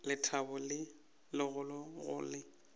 lethabo le legolo go le